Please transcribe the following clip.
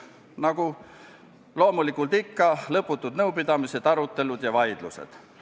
Nagu ikka, järgnesid lõputud nõupidamised, arutelud ja vaidlused.